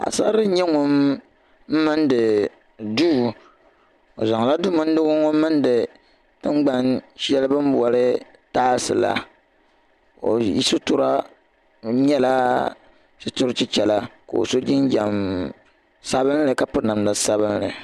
paɣ' sar' bila n-nyɛ ŋun mindi duu o zaŋla du' mindigu ŋɔ m-mindi tiŋgban' shɛli bɛ boli taasi la o sutura n-nyɛla sutur' chechara ka o sɔ jinjam sabinli ka piri namda sabinli.